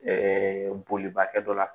Ɛɛ bolibakɛ dɔ la